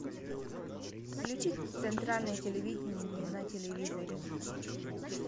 включи центральное телевидение на телевизоре